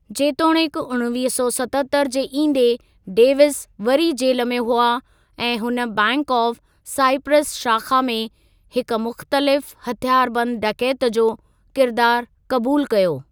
जेतोणीकि उणिवीह सौ सतहतरि जे इंदे, डेविस वरी जेल में हुआ ऐं हुन बैंक ऑफ साइप्रस शाख़ा में हिकु मुख़्तलिफ़ हथियार बंदु डकैत जो किरदारु क़बूलु कयो।